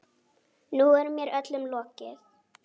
Nú er mér öllum lokið.